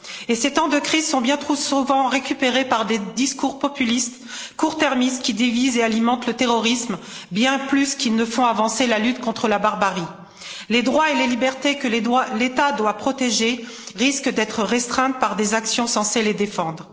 Et ces temps de crise sont bien trop souvent récupérés par des discours populistes court-termistes, qui divisent et alimentent le terrorisme, bien plus qu'ils ne font avancer la lutte contre la barbarie. Les droits et les libertés que l'État doit protéger risquent d'être restreints par des actions censées les défendre.